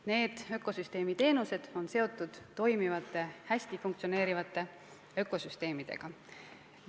Need ökosüsteemi teenused on seotud toimivate, hästi funktsioneerivate ökosüsteemidega.